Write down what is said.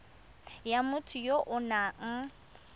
ya motho ya o nang